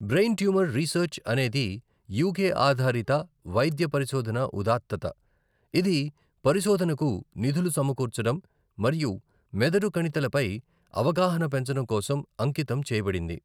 Brain tumour research అనేది UK ఆధారిత వైద్య పరిశోధన ఉదాత్తత, ఇది పరిశోధనకు నిధులు సమకూర్చడం మరియు మెదడు కణితిలపై అవగాహన పెంచడం కోసం అంకితం చేయబడింది.